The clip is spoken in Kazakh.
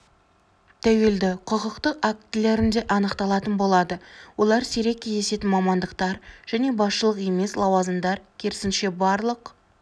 тәуелді құқықтық актілерінде анықталатын болады олар сирек кездесетін мамандықтар және басшылық емес лауазымдар керісінше барлық